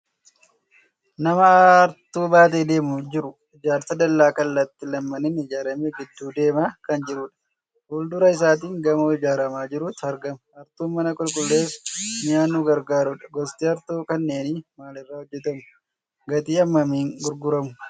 Nama hartuu baatee deemaa jiru. Ijaarsa dallaa kallattii lamaaniin ijaarame gidduu deemaa kan jirudha. Fuul-dura isaatiin gamoo ijaaramaa jirutu argama. Hartuun mana qulqulleessuu mi'a nu gargaarudha. Gosti hartuu kanneenii maalirraa hojjetamu? Gatii hammamiin gurguramu?